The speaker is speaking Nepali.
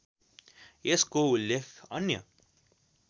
यसको उल्लेख अन्य